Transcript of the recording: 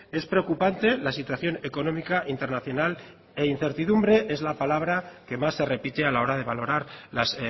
es preocupante la situación económica internacional e incertidumbre es la palabra que más se repite a la hora de valorar las